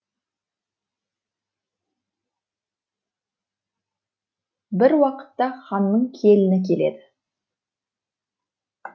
бір уақытта ханның келіні келеді